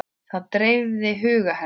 Það dreifði huga hennar.